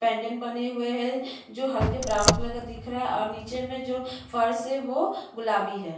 पैंजन बने हुए है जो हल्के ब्रॉउन कलर का दिख रहा है और जो नीचे में फर्श है वो गुलाबी है।